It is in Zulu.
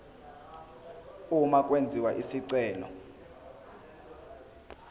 uma kwenziwa isicelo